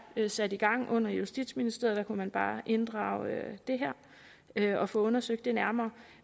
er sat i gang under justitsministeriet der kunne man bare inddrage det her og få undersøgt det nærmere